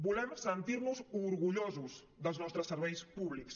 volem sentir nos orgullosos dels nostres serveis públics